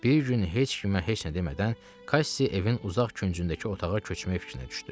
Bir gün heç kimə heç nə demədən Kassi evin uzaq küncündəki otağa köçmək fikrinə düşdü.